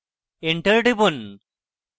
enter টিপুন